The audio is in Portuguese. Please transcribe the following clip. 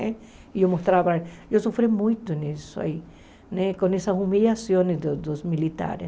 E eu mostrava, eu sofri muito nisso aí, né com essas humilhações dos dos militares.